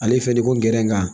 Ale fɛn nin ko n gɛrɛ n ka